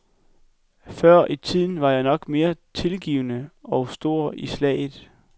Før i tiden var jeg nok mere tilgivende og stor i slaget.